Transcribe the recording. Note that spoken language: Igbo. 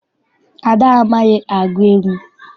Ada amaghị agụ egwu.